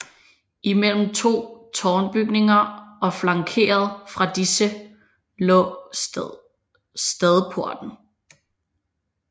Imellem to tårnbygninger og flankeret fra disse lå stadporten